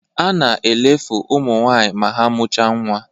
A na elefe ụmụ nwaanyị ma ha mụcha nwa